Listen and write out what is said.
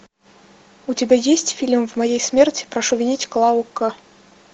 у тебя есть фильм в моей смерти прошу винить клаву к